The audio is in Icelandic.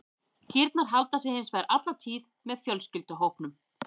Kýrnar halda sig hins vegar alla tíð með fjölskylduhópnum.